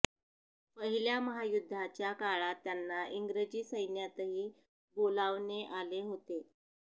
पहिल्या महायुद्धाच्या काळात त्यांना इंग्रजी सैन्यातही बोलावणे आले होते